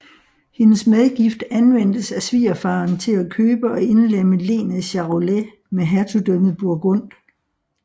Hendes medgift anvendtes af svigerfaderen til at købe og indlemme lenet Charolais med hertugdømmet Burgund